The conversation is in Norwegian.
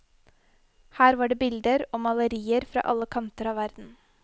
Her var det bilder og malerier fra alle kanter av verden.